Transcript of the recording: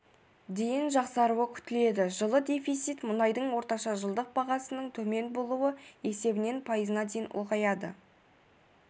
дейін жақсаруы күтіледі жылы дефицит мұнайдың орташа жылдық бағасының төмен болуы есебінен пайызына дейін ұлғаяды